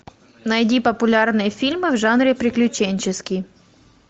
найди популярные фильмы в жанре приключенческий